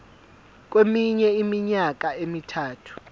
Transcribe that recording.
kweminye iminyaka emithathu